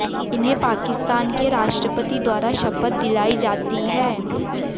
इन्हें पाकिस्तान के राष्ट्रपति द्वारा शपथ दिलाई जाती है